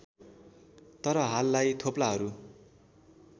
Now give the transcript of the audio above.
तर हाललाई थोप्लाहरू